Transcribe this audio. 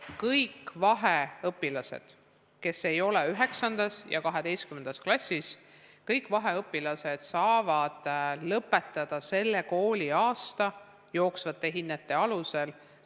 Kõik vaheõpilased, kes ei ole 9. ja 12. klassis, saavad lõpetada selle kooliaasta jooksvate hinnete alusel.